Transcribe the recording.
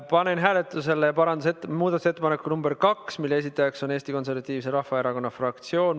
Panen hääletusele muudatusettepaneku nr 2, mille esitajaks on Eesti Konservatiivse Rahvaerakonna fraktsioon.